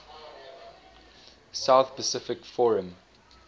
south pacific forum